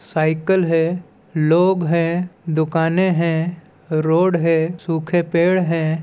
Cycle है लोग है दुकाने है रोड है सूखे पेड हैं।